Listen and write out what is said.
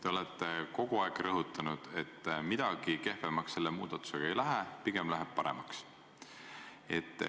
Te olete kogu aeg rõhutanud, et midagi kehvemaks selle muudatusega ei lähe, pigem läheb paremaks.